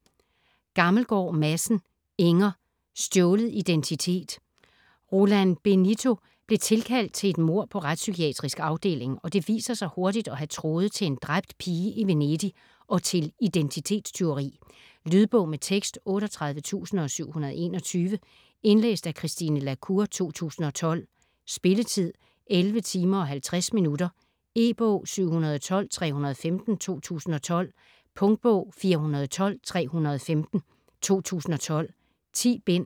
Gammelgaard Madsen, Inger: Stjålet identitet Roland Benito bliver tilkaldt til et mord på Retspsykiatrisk Afdeling, og det viser sig hurtigt at have tråde til en dræbt pige i Venedig og til identitetstyveri. Lydbog med tekst 38721 Indlæst af Christine la Cour, 2012. Spilletid: 11 timer, 50 minutter. E-bog 712315 2012. Punktbog 412315 2012. 10 bind.